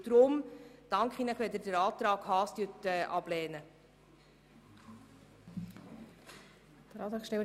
Deshalb danke ich Ihnen, wenn Sie den Antrag Haas ablehnen.